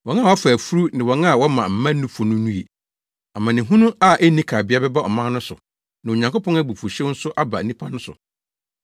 Wɔn a wɔafa afuru ne wɔn a wɔma mma nufu no nnue. Amanehunu a enni kabea bɛba ɔman no so na Onyankopɔn abufuwhyew nso aba nnipa no so.